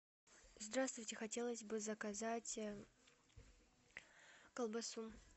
здравствуйте хотелось бы заказать колбасу